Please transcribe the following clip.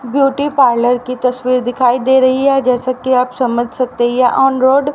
beauty parlour की तस्वीर दिखाई दे रही है जैसा कि आप समझ सकते हैं ये ऑन रोड --